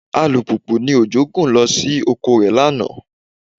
Alùpùpù ni Òjó gùn lọ sí oko rẹ̀ lánàá